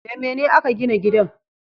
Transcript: Da mene a ka gina gidan?